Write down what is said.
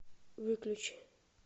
выключи